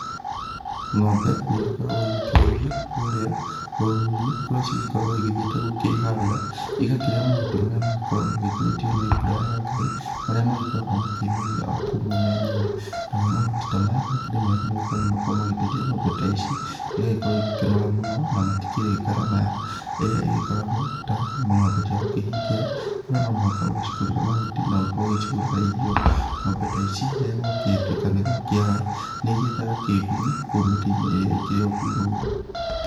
Ng'ombe nĩ igĩkoragwo igĩkĩrĩithio kũrĩa rũru-inĩ kũrĩa cigĩkoragwo igĩgĩthiĩte kwĩharĩra igakĩrĩa mahuti marĩa magĩkoragwo magĩkũrĩtio nĩ mbura ya Ngai marĩa makoragwo makĩmeria o kũu o menyewe, namo mahuti ta maya makĩrĩ mega nĩ gũkorwo nĩ makoragwo magĩteithia ng'ombe ta ici igagĩkorwo ikĩnora mũno na matikĩrĩ ngarama ĩrĩa igĩkoragwo ta ng'ombe cia gũkĩhingĩra kũria no mũhaka ũcigũrĩre mahuti na ũkorwo ũgĩcigũrĩra irio, ng'ombe ta ici rĩrĩa gwagĩtuika nĩ gwa kĩara nĩ ikĩethaga kĩgunyĩ kũu mĩtĩ-inĩ ĩrĩa ĩkĩrĩ o kũu rũru.